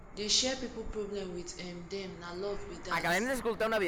dey share pipu problem wit um dem na love be dat